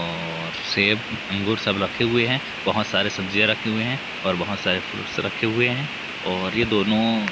और सेब अंगूर सब रखे हुए है बहोत सारे सब्जियाँ रखे हुए है और बहोत सारे फ्रूट्स रखे हुए है और ये दोनों--